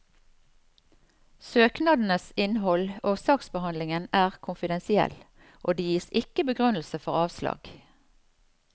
Søknadenes innhold og saksbehandlingen er konfidensiell, og det gis ikke begrunnelse for avslag.